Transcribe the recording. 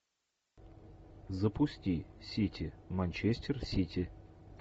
запусти сити манчестер сити